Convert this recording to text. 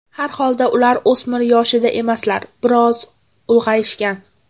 Har holda ular o‘smir yoshida emaslar, biroz ulg‘ayishgan.